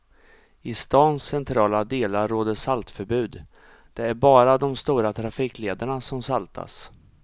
I stans centrala delar råder saltförbud, det är bara de stora trafiklederna som saltas.